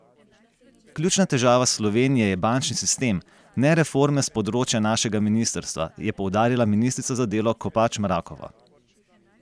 Ključna težava Slovenije je bančni sistem, ne reforme s področja našega ministrstva, je poudarila ministrica za delo Kopač Mrakova.